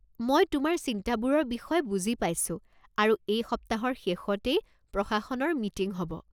মই তোমাৰ চিন্তাবোৰৰ বিষয়ে বুজি পাইছো আৰু এই সপ্তাহৰ শেষতেই প্ৰশাসনৰ মিটিং হ'ব।